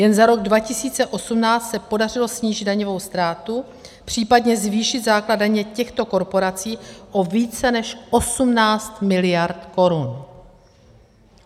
Jen za rok 2018 se podařilo snížit daňovou ztrátu, případně zvýšit základ daně těchto korporací o více než 18 miliard korun.